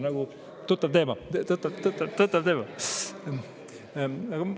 Nagu tuttav teema , tuttav teema!